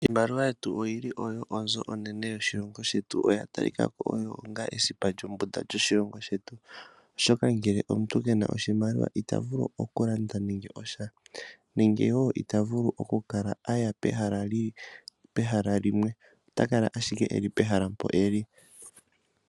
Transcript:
Iimaliwa yetu oyili oyo onzo onene yoshilongo shetu no yatalikako onga esipa lyombunda lyoshilongo shetu, oshoka ngele omuntu kena oshimaliwa itavulu nande okulanda nande osha nenge okuya pehale limwe otakala owala pehala limwe.